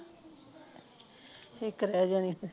ਇੱਕ ਰਹਿ ਜਾਣੀ ਆ ਫਿਰ